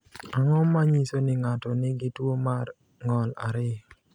Ang’o ma nyiso ni ng’ato nigi tuwo mar ng’ol 2?